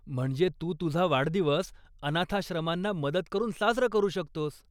म्हणजे तू तुझा वाढदिवस अनाथाश्रमांना मदत करून साजरा करू शकतोस.